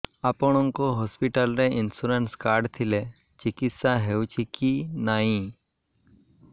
ଆପଣଙ୍କ ହସ୍ପିଟାଲ ରେ insurance card ଥିଲେ ଚିକିତ୍ସା ହେଉଛି କି ନାଇଁ